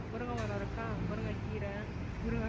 முருங்க மரம் இருக்கா முருங்கைக்கீரை முருங்க~